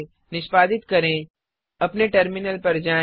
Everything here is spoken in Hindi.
निष्पादित करें अपने टर्मिनल पर जाएँ